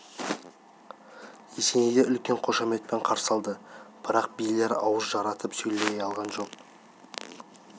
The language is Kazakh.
есенейді үлкен қошаметпен қарсы алды бірақ билер ауыз жарытып сөйлесе алған жоқ